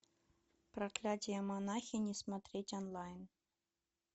проклятие монахини смотреть онлайн